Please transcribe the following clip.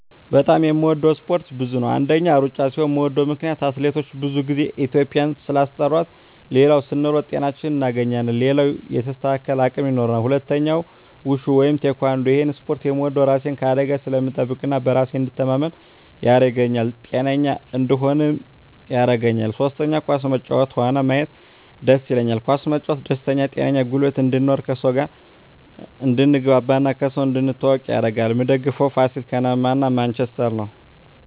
በጣም የምወደው እስፓርት ብዙ ነው አንደኛ እሩጫ ሲሆን ምወደው ምክነያት አትሌቶቻችን ብዙ ግዜ ኢትዩጵያን ስላስጠራት ሌላው ስንሮጥ ጤናችን እናገኛለን ሌላው የተስተካከለ አቅም ይኖራል ሁለተኛው ውሹ ወይም ቲካንዶ እሄን እስፖርት ምወደው እራሴን ከአደጋ ስለምጠብቅ እና በራሴ እንድተማመን ያረገኛል ጤነኛ እንድሆንም ያረገኛል ሶስተኛ ኳስ መጫወት ሆነ ማየት ደስ ይለኛል ኳስ መጫወት ደስተኛ ጤነኛ ጉልበት እንድኖር ከሰው ጋር አድትግባባ እና ከሰው እንድትተዋወቅ ያረጋል ምደግፈው ፋሲል ከነማ እና ማንችስተር ነው